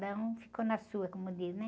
Cada um ficou na sua, como diz, né?